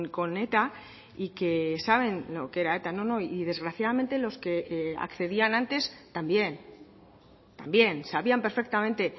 con eta y que saben lo que era eta no no y desgraciadamente los que accedían antes también también sabían perfectamente